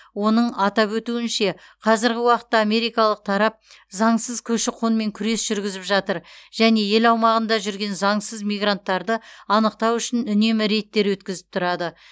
оның атап өтуінше қазіргі уақытта америкалық тарап заңсыз көші қонмен күрес жүргізіп жатыр және ел аумағында жүрген заңсыз мигранттарды анықтау үшін үнемі рейдтер өткізіп тұрады